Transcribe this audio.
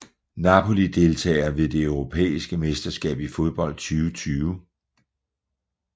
Napoli Deltagere ved det europæiske mesterskab i fodbold 2020